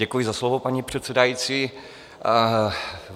Děkuji za slovo, paní předsedající.